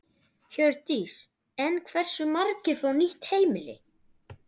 Hjördís: En hversu margir fá nýtt heimili?